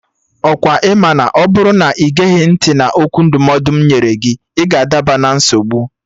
Ọkwa ị ma na ọ bụrụ na ị geghị ntị na okwu ndụmọdụ m nyere gị, ị ga-adaba na nsogbu?